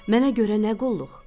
Mənə görə nə qulluq?